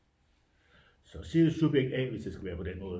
Så siger jeg subjekt A hvis det skal være på den måde